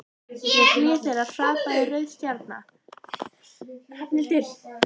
Við hlið þeirra hrapaði rauð stjarna.